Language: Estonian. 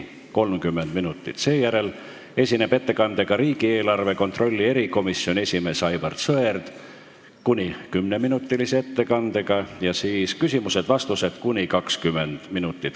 Seejärel esineb riigieelarve kontrolli erikomisjoni esimees Aivar Sõerd kuni 10-minutilise ettekandega, järgnevad küsimused ja vastused .